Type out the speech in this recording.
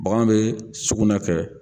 Bagan bɛ sugunɛ kɛ..